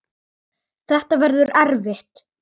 Þetta verður erfitt.